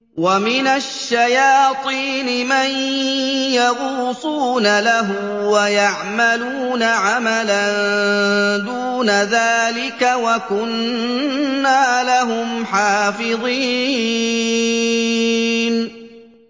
وَمِنَ الشَّيَاطِينِ مَن يَغُوصُونَ لَهُ وَيَعْمَلُونَ عَمَلًا دُونَ ذَٰلِكَ ۖ وَكُنَّا لَهُمْ حَافِظِينَ